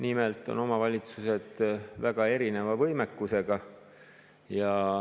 Nimelt on omavalitsused väga erineva võimekusega.